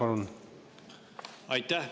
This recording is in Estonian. Aitäh!